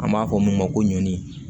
An b'a fɔ min ma ko ɲɔni